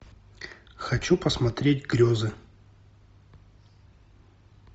хочу посмотреть грезы